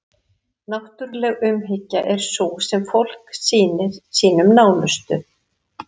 Náttúruleg umhyggja er sú sem fólk sýnir sínum nánustu.